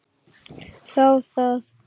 Þá það.